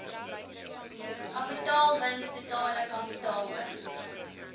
kapitaalwins totale kapitaalwins